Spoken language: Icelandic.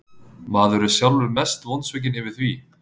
Maður er sjálfur mest vonsvikinn yfir því.